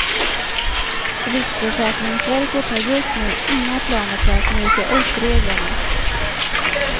Riksförsäkringsverket har just nu inga planer på att mjuka upp reglerna.